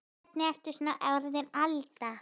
Og hvernig ertu svo orðin Alda.